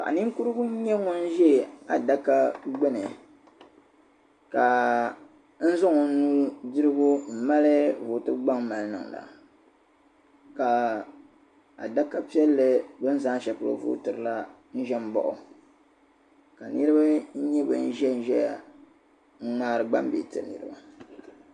Paɣa ninkurigu n-nyɛ ŋun ʒe adaka gbuni ka zaŋ o nu'dirigu m-mali vootibu gbaŋ mali n-niŋda ka adaka piɛlli beni zaa ni sheli polo vootiri la n-ʒen m-baɣu ka niriba nyɛ ban ʒen ʒeya n-ŋmaari gbaŋ bihi n-tiri niriba.